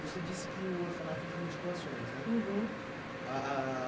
Você disse que o orfanato vivia de doações, né? Uhum. Ah ah